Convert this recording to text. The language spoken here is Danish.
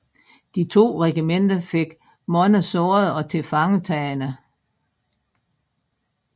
De to regimenter fik mange sårede og tilfangetagne